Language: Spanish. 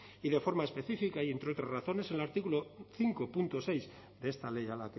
y de forma específica y entre otras razones el artículo cinco punto seis de esta ley a